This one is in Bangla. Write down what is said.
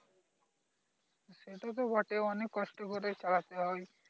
এটা তো বটে অনেক কষ্ট করে চালাচ্ছে ওই